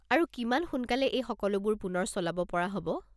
আৰু কিমান সোনকালে এই সকলোবোৰ পুনৰ চলাব পৰা হ'ব?